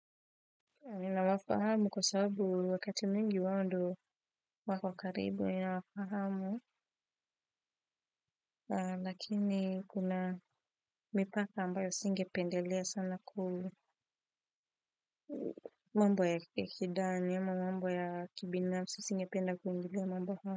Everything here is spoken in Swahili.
Ninawafahamu kwa sabu wakati mingi wao ndo wako karibu ninawafahamu lakini kuna mipaka ambayo singependelea sana ku mambo ya ki kidari ama mambo ya kibinafsi singependea ambayo.